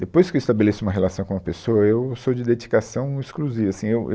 Depois que eu estabeleço uma relação com uma pessoa, eu sou de dedicação exclusiva. Assim eu eu